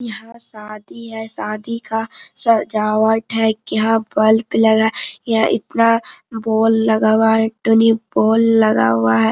यहां शादी है शादी का सजावट है यहाँ बल्ब लगा है यहाँ इतना बोल लगा हुआ हैटुनी बोल लगा हुआ है।